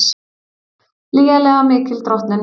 Lygilega mikil drottnun